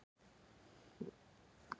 En svo hitti ég einn í fyrra.